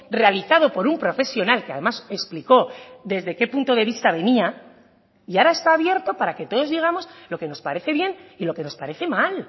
realizado por un profesional que además explicó desde qué punto de vista venía y ahora está abierto para que todos digamos lo que nos parece bien y lo que nos parece mal